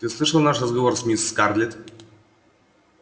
ты слышал наш разговор с мисс скарлетт